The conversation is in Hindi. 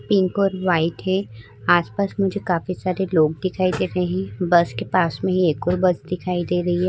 पिंक और व्हाइट है। आस-पास मुझे काफी सारे लोग दिखाई दे रहें हैं। बस के पास में ही एक और बस दिखाई दे रही है।